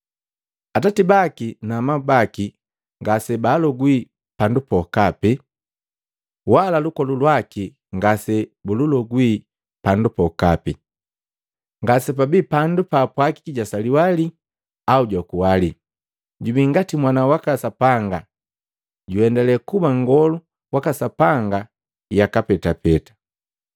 Atati baki na amabu baki ngase baalogwi pandu pokape, wala lukolu lwaki ngase bululogwi pandu pokapi; ngase pabii pandu paapwagiki jwasaliwa lii au jwakuwa lii. Jubii ngati Mwana waka Sapanga, na juendale kuba nngolu waka Sapanga yaka petapeta.